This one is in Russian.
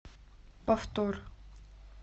повтор